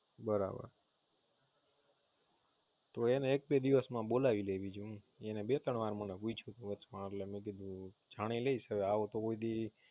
એને એક બે દિવસ મા બોલાવી લીધો